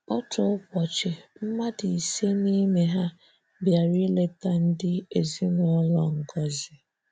Otu ụbọchị, mmadụ ịse n'ime ha bịara ịleta ndị ezinụlọ Ngozi.